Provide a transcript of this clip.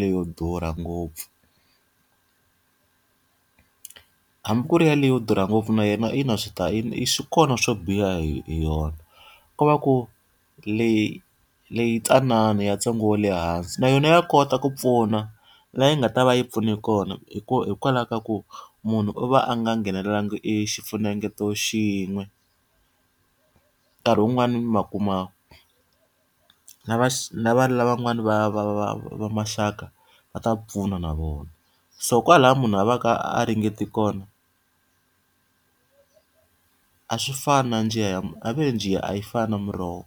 leyo durha ngopfu. Hambi ku ri yaleyo durha ngopfu na yona i na swi ta swi kona swo biha hi hi yona. Ko va ku leyintsanana ya ntsengo wa le hansi na yona ya kota ku pfuna laha yi nga ta va yi pfune kona, hikokwalaho ka ku munhu u va a nga nghenalelanga e xifunengeto xin'we. Nkarhi wun'wani ma kuma lava lava lava van'wani va va va va maxaka va ta pfuna na vona. So kwalaho munhu a va ka a ringete kona a swi fani na njiya ya va ri njiya a yi fani na muroho.